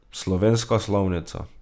Slovenska slovnica.